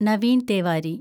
Naveen Tewari